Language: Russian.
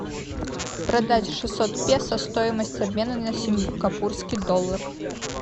продать шестьсот песо стоимость обмена на сингапурский доллар